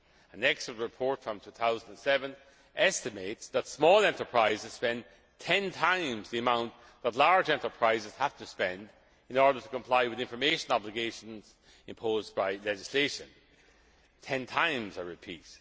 companies. An expert report from 2007 estimates that small enterprises spend 10 times the amount that large enterprises have to spend in order to comply with information obligations imposed by legislation. Ten times,